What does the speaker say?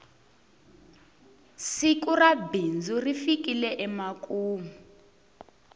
siku ra bindzu ri fikile emakumu